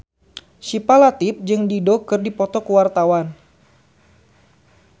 Syifa Latief jeung Dido keur dipoto ku wartawan